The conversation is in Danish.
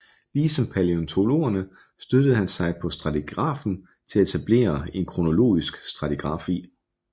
Lige som palæontologerne støttede han sig på stratigrafien for at etablere en kronologisk stratigrafi